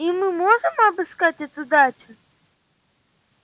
и мы можем обыскать эту дачу